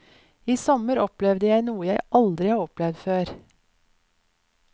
I sommer opplevde jeg noe jeg aldri har opplevd før.